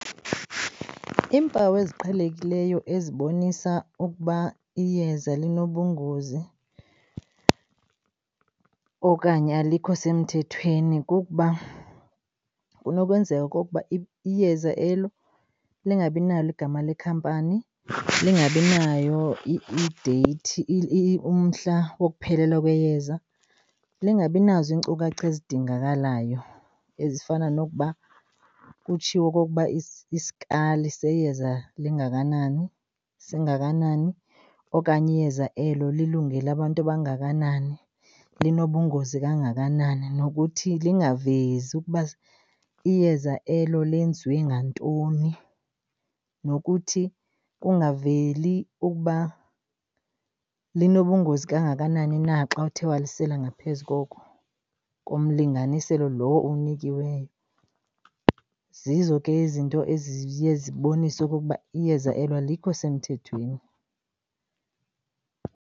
Iimpawu eziqhelekileyo ezibonisa ukuba iyeza linobungozi okanye alikho semthethweni kukuba kunokwenzeka okokuba iyeza elo lingabi nalo igama lekhampani, lingabi nayo ideyithi umhla wokuphelelwa kweyeza. Lingabi nazo iinkcukacha ezidingakalayo ezifana nokuba kutshiwo okokuba iskali seyeza lingakanani, singakanani, okanye iyeza elo lilungele abantu abangakanani, linobungozi kangakanani. Nokuthi lingavezi ukuba iyeza elo lenziwe ngantoni, nokuthi kungaveli ukuba linobungozi kangakanani na xa uthe walisela ngaphezu koko, komlinganiselo lowo owunikelweyo. Zizo ke izinto eziye zibonise okokuba iyeza elo alikho semthethweni.